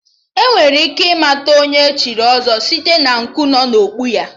Enwere ike ịmata Onye echiri ọzọ site na nku dị n'okpu ya